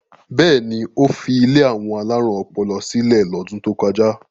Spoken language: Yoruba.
Bẹ́ẹ̀ ni, ó fi ilé àwọn alárùn ọpọlọ sílẹ̀ lọ́dún tó kọjá.